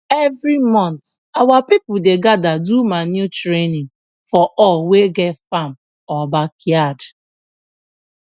every month our people dey gather do manure training for all wey get farm or backyard